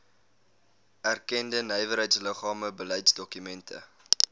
erkende nywerheidsliggame beleidsdokumente